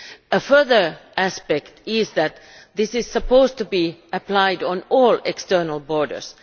A further aspect is that this is supposed to be applied on all external borders.